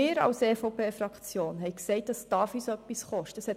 Wir als EVP-Fraktion haben gesagt, dass es auch etwas kosten darf.